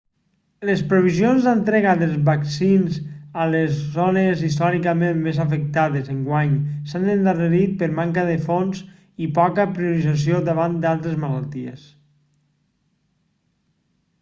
les previsions d'entrega dels vaccins a les zones històricament més afectades enguany s'han endarrerit per manca de fons i poca priorització davant d'altres malalties